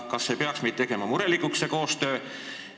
Kas see koostöö ei peaks meid murelikuks tegema?